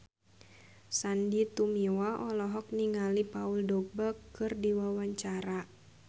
Sandy Tumiwa olohok ningali Paul Dogba keur diwawancara